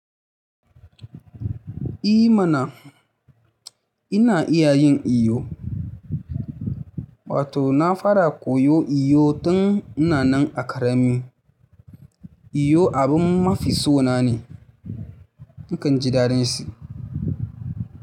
I mana, ina iya yin iyo. Wato na fara koyo iyo tun ina nan a ƙarami. Iyo abin mafi so na ne. Nakan ji daɗin shi.